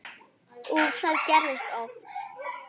Og það gerðist oft.